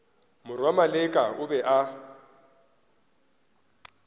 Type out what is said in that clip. morwa maleka o be a